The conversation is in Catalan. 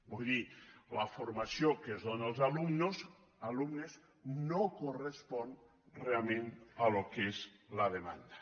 vull dir la formació que es dóna als alumnes no correspon realment al que és la demanda